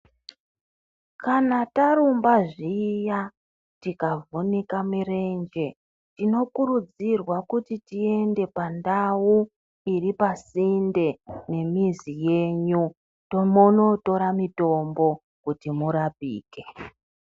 Kana tarumba zviya, tikavhunika mirenje, tinokurudzirwa kuti tiende pandau iripasinde nemizi yenyu tombonotora mitombo kuti murapike.